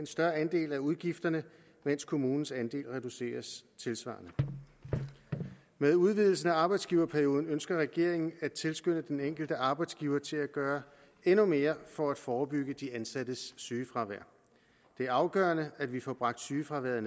større andel af udgifterne mens kommunens andel reduceres tilsvarende med udvidelsen af arbejdsgiverperioden ønsker regeringen at tilskynde den enkelte arbejdsgiver til at gøre endnu mere for at forebygge de ansattes sygefravær det er afgørende at vi får bragt sygefraværet